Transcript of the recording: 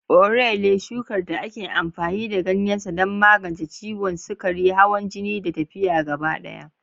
Orele, shukar da ake amfani da ganyen sa don magance ciwon sukari, hawan jini, da lafiya gaba ɗaya.